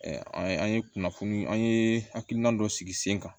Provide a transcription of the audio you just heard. an ye an ye kunnafoni an ye hakilina dɔ sigi sen kan